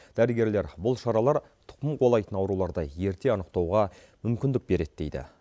дәрігерлер бұл шаралар тұқым қуалайтын ауруларды ерте анықтауға мүмкіндік береді дейді